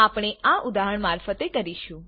આપણે આ ઉદાહરણ મારફતે કરીશું